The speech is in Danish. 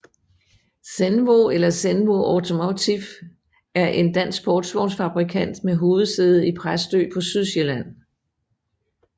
Zenvo eller Zenvo Automotive er en dansk sportsvognsfabrikant med hovedsæde i Præstø på Sydsjælland